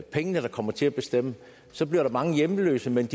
pengene der kommer til at bestemme så bliver der mange hjemløse men